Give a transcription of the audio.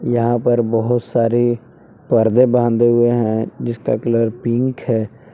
यहां पर बहोत सारे पर्दे बांधे हुए हैं जिसका कलर पिंक है।